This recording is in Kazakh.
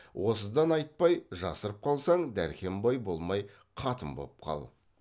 осыдан айтпай жасырып қалсаң дәркембай болмай қатын боп қал